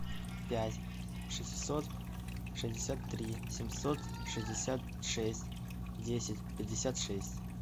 пять шестьсот шестьдесят три семьсот шестьдесят шесть десять пятьдесят шесть